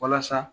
Walasa